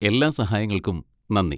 എല്ലാ സഹായങ്ങൾക്കും നന്ദി.